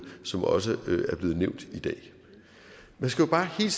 som også er blevet nævnt i dag man skal jo bare hele